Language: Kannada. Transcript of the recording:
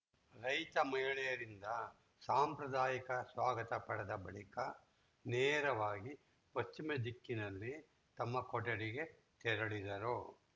ರೈತ ಮಹಿಳೆಯರಿಂದ ಸಾಂಪ್ರದಾಯಿಕ ಸ್ವಾಗತ ಪಡೆದ ಬಳಿಕ ನೇರವಾಗಿ ಪಶ್ಚಿಮ ದಿಕ್ಕಿನಲ್ಲಿ ತಮ್ಮ ಕೊಠಡಿಗೆ ತೆರಳಿದರು